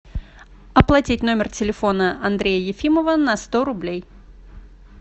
оплатить номер телефона андрея ефимова на сто рублей